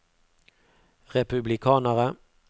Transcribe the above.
republikanere